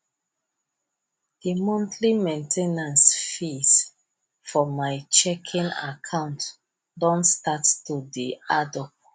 de monthly main ten ance fees for my checking account don start to dey add up